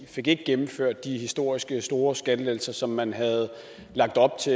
fik gennemført de historisk store skattelettelser som man havde lagt op til